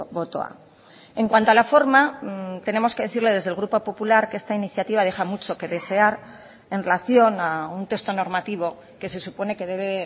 botoa en cuanto a la forma tenemos que decirle desde el grupo popular que esta iniciativa deja mucho que desear en relación a un texto normativo que se supone que debe